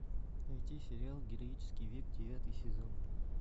найти сериал героический век девятый сезон